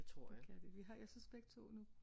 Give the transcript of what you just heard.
Det kan de. Vi har jeg synes begge to nu